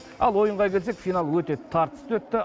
ал ойынға келсек финал өте тартысты өтті